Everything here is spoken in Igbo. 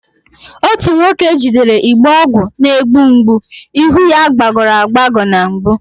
Otu nwoke jidere igbe ọgwụ na-egbu mgbu, ihu ya gbagọrọ agbagọ na mgbu